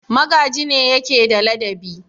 Magaji ne yake da ladabi.